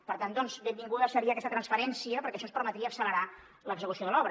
per tant benvinguda seria aquesta transferència perquè això ens permetria accelerar l’execució de l’obra